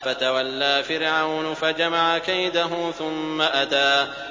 فَتَوَلَّىٰ فِرْعَوْنُ فَجَمَعَ كَيْدَهُ ثُمَّ أَتَىٰ